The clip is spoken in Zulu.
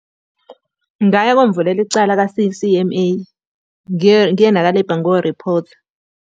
Ngingaya komvulela icala ka-C_C_M_A. Ngiye ngiye naka-labour ngiyoriphotha.